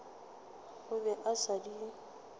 o be a sa di